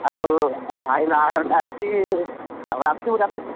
ଆଉ ମୋ ଭାଇ ବାହାଘର ଟା ଅଛି ଆଉ ଆସିବୁ।